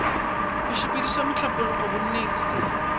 go sepediša mohlapologo bonneng se